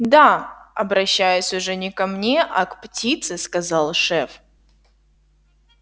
да обращаясь уже не ко мне а к птице сказал шеф